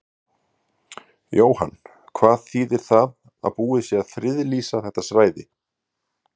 Jóhann, hvað þýðir það að búið sé að friðlýsa þetta svæði?